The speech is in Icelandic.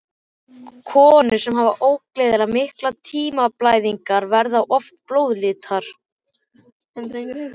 Konur sem hafa óeðlilega miklar tíðablæðingar, verða oft blóðlitlar.